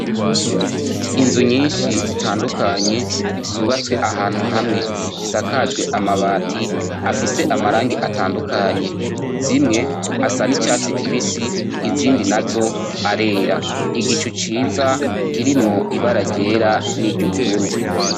Inzu nyinshi zitandukanye zubatswe ahantu hamwe zisakajwe amabati afise amarangi atandukanye. Zimwe, asa n'icatsi kibisi, izindi nazo arera. Igicu ciza kirimwo ibara ryera niry'ubururu.